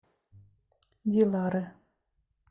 дилары